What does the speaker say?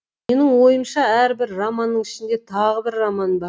менің ойымша әрбір романның ішінде тағы бір роман бар